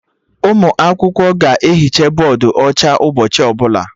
Ụmụ akwụkwọ ga ehicha bọdụ ọcha ụbọchị ọbụla